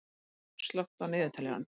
Glóa, slökktu á niðurteljaranum.